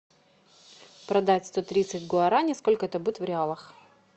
продать сто тридцать гуарани сколько это будет в реалах